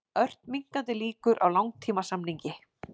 Ört minnkandi líkur á langtímasamningi